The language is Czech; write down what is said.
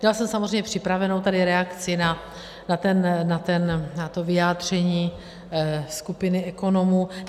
Měla jsem samozřejmě připravenou tady reakci na to vyjádření skupiny ekonomů.